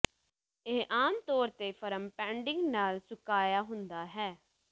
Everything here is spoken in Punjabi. ਇਹ ਆਮ ਤੌਰ ਤੇ ਫਰਮ ਪੈਡਿੰਗ ਨਾਲ ਸੁਕਾਇਆ ਹੁੰਦਾ ਹੈ